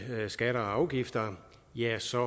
skatter og afgifter ja så